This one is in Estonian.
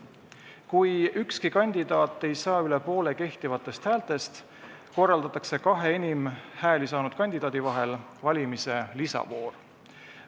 Kui ükski kandidaat ei saa üle poole kehtivatest häältest, korraldatakse kahe enim hääli saanud kandidaadi vahel valimise lisavoor.